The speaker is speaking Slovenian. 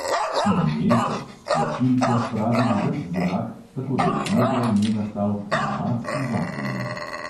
Iz nje so s tlačilko spravili ves zrak, tako da je znotraj nje nastal pnevmatski vakuum.